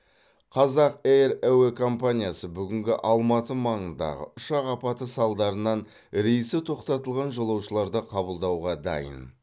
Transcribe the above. қазақ эйр әуе компаниясы бүгінгі алматы маңындағы ұшақ апаты салдарынан рейсі тоқтатылған жолаушыларды қабылдауға дайын